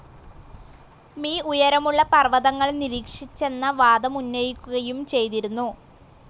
Me ഉയരമുള്ള പർവ്വതങ്ങൾ നിരീക്ഷിച്ചെന്ന വാദമുന്നയിക്കുകയും ചെയ്തിരുന്നു.